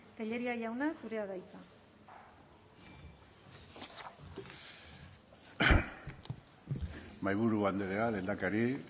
tellería jauna zurea da hitza mahaiburu andrea lehendakari